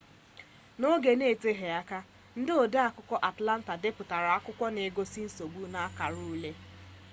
n'oge n'eteghị aka ndị ode akwụkwọ atlanta depụtara akwụkwọ nke n'egosi nsogbu n'akara ule